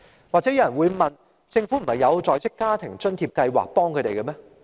或許有人會問：政府不是已經為他們提供在職家庭津貼計劃嗎？